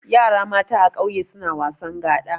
Yara mata a kauye suna wasan gaɗa.